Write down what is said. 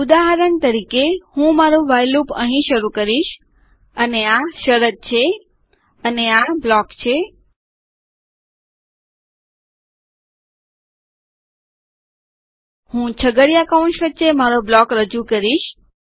ઉદાહરણ તરીકે હું મારું વ્હાઇલ લૂપ અહીં શરૂ કરીશ અને આ શરત છે અને આ બ્લોક છે હું છગડીયા કૌંસ વચ્ચે મારો બ્લોક રજૂ કરીશ